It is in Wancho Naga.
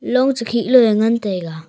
long che khe lo eh ngan taiga.